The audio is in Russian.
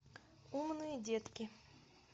умные детки